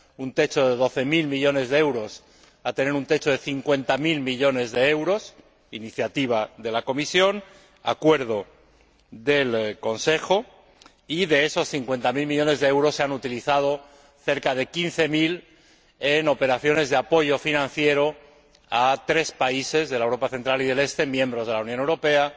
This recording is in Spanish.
un techo de doce mil millones de euros a tener un techo de cincuenta mil millones de euros —iniciativa de la Comisión, acuerdo del Consejo— y, de esos cincuenta mil millones, se han utilizado cerca de quince mil en operaciones de apoyo financiero a tres países de Europa central y oriental, miembros de la Unión Europea